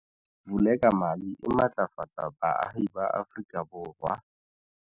Vulekamali e matlafatsa baahi ba Afrika Borwa.